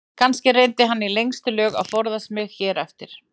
Kannski reyndi hann í lengstu lög að forðast mig hér eftir.